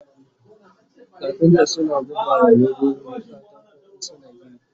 kafinta suna buga wa leburori katako in suna gini